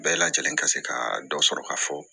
Bɛɛ lajɛlen ka se ka dɔ sɔrɔ ka fɔ